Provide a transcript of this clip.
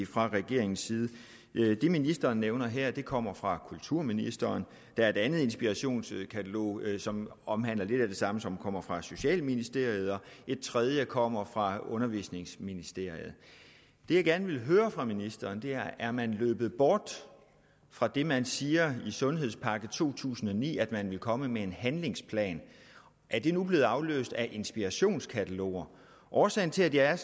fra regeringens side det ministeren nævner her kommer fra kulturministeren der er et andet inspirationskatalog som omhandler lidt af et samme som kommer fra socialministeriet og et tredje kommer fra undervisningsministeriet det jeg gerne vil høre fra ministeren er er man løbet bort fra det man siger i sundhedspakke to tusind og ni nemlig at man vil komme med en handlingsplan er det nu blevet afløst af inspirationskataloger årsagen til at jeg